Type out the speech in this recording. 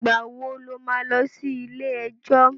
Ìgbà wo lo má lọ sí ilé-ẹjọ̀?